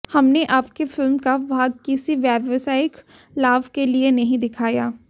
हमने आपकी फिल्मका भाग किसी व्यावसायिक लाभके लिए नहीं दिखाया